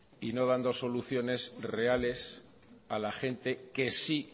y no dando soluciones reales a la gente que sí